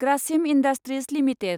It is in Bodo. Grasim industries limited